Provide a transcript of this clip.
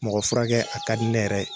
Mɔgɔ furakɛ a ka di ne yɛrɛ ye